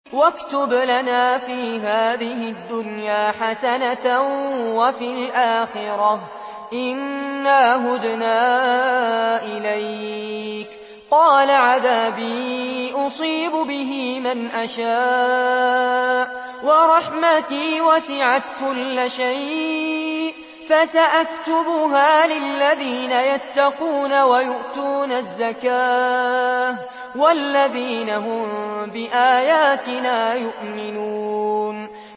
۞ وَاكْتُبْ لَنَا فِي هَٰذِهِ الدُّنْيَا حَسَنَةً وَفِي الْآخِرَةِ إِنَّا هُدْنَا إِلَيْكَ ۚ قَالَ عَذَابِي أُصِيبُ بِهِ مَنْ أَشَاءُ ۖ وَرَحْمَتِي وَسِعَتْ كُلَّ شَيْءٍ ۚ فَسَأَكْتُبُهَا لِلَّذِينَ يَتَّقُونَ وَيُؤْتُونَ الزَّكَاةَ وَالَّذِينَ هُم بِآيَاتِنَا يُؤْمِنُونَ